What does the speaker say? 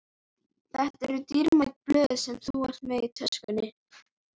Þetta eru dýrmæt blöð sem þú ert með í töskunni.